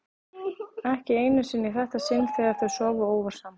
Ekki einu sinni í þetta sinn þegar þau sváfu óvart saman.